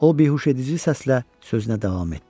O behuşedici səslə sözünə davam etdi.